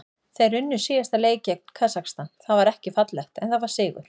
Þeir unnu síðasta leik gegn Kasakstan, það var ekki fallegt en það var sigur.